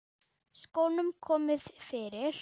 Skónum komið fyrir?